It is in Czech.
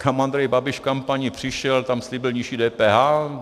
Kam Andrej Babiš v kampani přišel, tam slíbil nižší DPH.